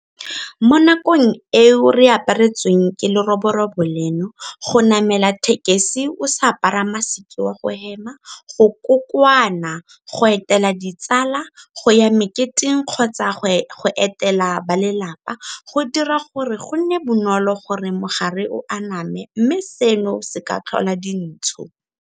Mo nakong eo re aparetsweng ke leroborobo leno, go namela thekesi o sa apara maseke wa go hema, go kokoana, go etela ditsala, go ya meketeng kgotsa go etela balelapa, go dira gore go nne bonolo gore mogare o aname mme seno se ka tlhola dintsho.